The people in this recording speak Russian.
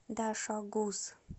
дашогуз